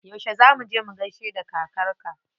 Yauce za muje mu gaishe da kakar ka?